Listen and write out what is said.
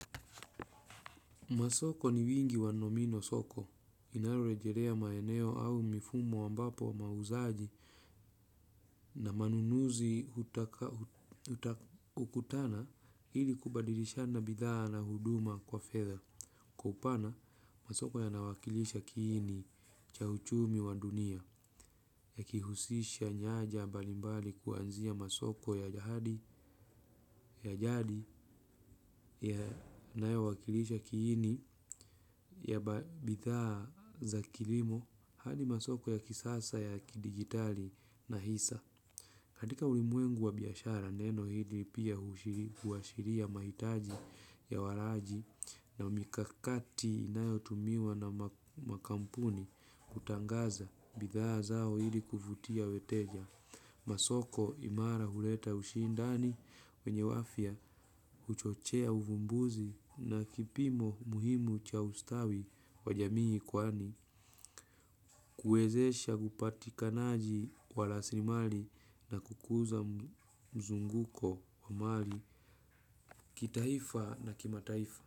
Masoko ni wingi wa nomino soko. Inayorejerea maeneo au mifumo ambapo mauzaji na manunuzi hukutana ili kubadilishana bidhaa na huduma kwa fedha. Kwa upana masoko yanawakilisha kiini cha uchumi wa dunia yakihusisha nyanja mbalimbali kuanzia masoko ya jadi yanayowakilisha kiini ya bidhaa za kilimo hadi masoko ya kisasa ya kidigitali na hisa. Katika ulimwengu wa biashara neno hili pia huashiria mahitaji ya walaji na mikakati inayotumiwa na makampuni kutangaza bidhaa zao ili kuvutia weteja. Masoko imara huleta ushindani wenye afya huchochea uvumbuzi na kipimo muhimu cha ustawi wa jamii kwani. Kuwezesha upatikanaji wa rasilimali na kukuza mzunguko wa mali kitaifa na kimataifa.